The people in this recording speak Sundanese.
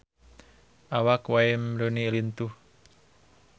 Awak Wayne Rooney lintuh